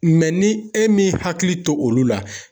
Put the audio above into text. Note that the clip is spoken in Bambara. ni e min hakili to olu la